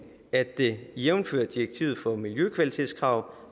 at det jævnfør direktivet for miljøkvalitetskrav